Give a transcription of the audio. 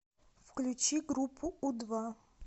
включи группу у два